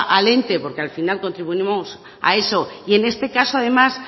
al ente porque al final contribuimos a eso y en este caso además